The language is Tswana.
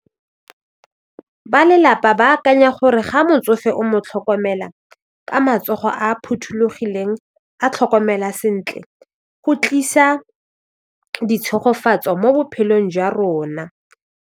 Ba lelapa ba akanya gore ga motsofe o mo tlhokomela ka matsogo a phothulogileng a tlhokomela sentle go tlisa ditshegofatso mo bophelong jwa rona.